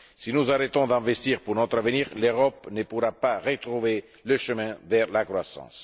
Si nous arrêtons d'investir pour notre avenir, l'Europe ne pourra pas retrouver le chemin de la croissance.